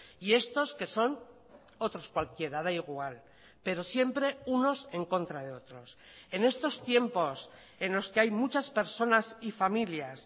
y estos que son otros cualquiera da igual pero siempre unos en contra de otros en estos tiempos en los que hay muchas personas y familias